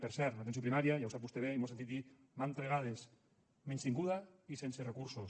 per cert una atenció primària ja ho sap vostè bé i m’ho ha sentit dir mantes vegades menystinguda i sense recursos